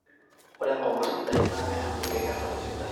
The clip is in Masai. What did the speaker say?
ore nkong'at sidain naa keyau enkikesare sidai